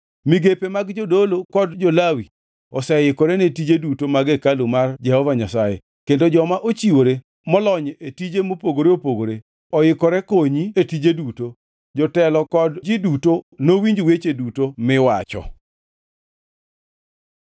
Migepe mag jodolo kod jo-Lawi oseikore ne tije duto mag hekalu mar Jehova Nyasaye, kendo joma ochiwore molony e tije mopogore opogore oikore konyi e tije duto. Jotelo kod ji duto nowinj weche duto miwacho.